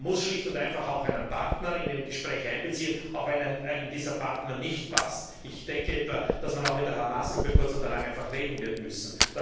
Man muss schlicht und einfach auch einen Partner in ein Gespräch einbeziehen, auch wenn einem dieser Partner nicht passt. Ich denke etwa, dass man auch mit der Hamas über kurz oder lang reden wird müssen.